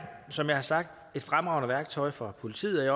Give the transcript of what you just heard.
som jeg har sagt et fremragende værktøj for politiet